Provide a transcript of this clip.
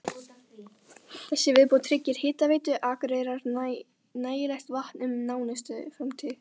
Þessi viðbót tryggir Hitaveitu Akureyrar nægilegt vatn um nánustu framtíð.